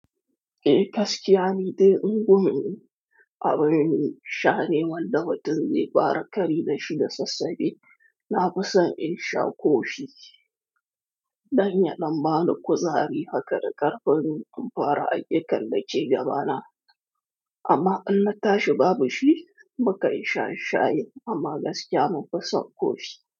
Eh gaskiya ne dai in gwammace abin sha ne wanda watan zai fara ƙari da shi da sassafe. Na fi son in sha ko shi. Danya nan ba nu kusa ne haka da ƙarfin amfara a yake kalle ce gaba na. Amma Allah ta shiga bashi, muka yi shan shayin amma gaskiya mun fi son ko shi.